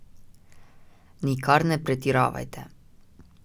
Nikar ne pretiravajte.